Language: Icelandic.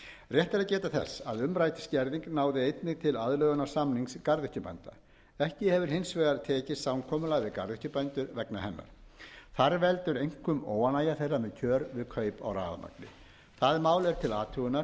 rétt er að geta þess að umrædd skerðing náði einnig til aðlögunarsamnings garðyrkjubænda ekki hefur hins vegar tekist samkomulag við garðyrkjubændur vegna hennar þar veldur einkum óánægja þeirra með kjör við kaup á rafmagni það mál er til athugunar og